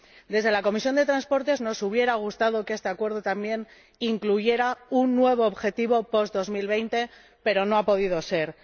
Desde la Comisión de Transportes nos hubiera gustado que este acuerdo, también, incluyera un nuevo objetivo post 2020, pero no ha podido ser.